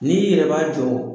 N'i yɛrɛ b'a jɔ